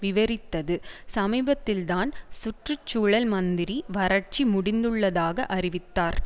விவரித்தது சமீபத்தில்தான் சுற்று சூழல் மந்திரி வறட்சி முடிந்துள்ளதாக அறிவித்தார்